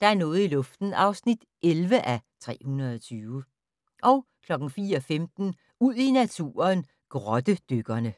Der er noget i luften (11:320) 04:15: Ud i naturen: Grottedykkerne